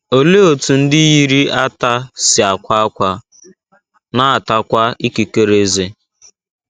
Olee otú ndị yiri ata si akwa ákwá, na - atakwa ikikere ezé?